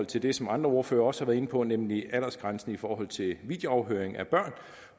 til det som andre ordførere også har været inde på nemlig aldersgrænsen i forhold til videoafhøring af børn